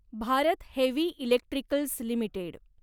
Bharat heavy electricals limited